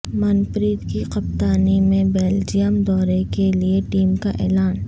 من پریت کی کپتانی میں بیلجئیم دورے کے لیے ٹیم کا اعلان